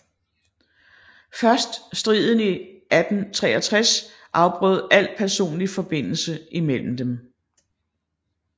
Først striden 1863 afbrød al personlig forbindelse imellem dem